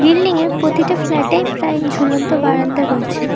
Building এ প্রতিটা flat -এ প্রায় ঝুলন্ত বারান্দা রয়েছে।